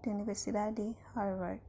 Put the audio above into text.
di universidadi di harvard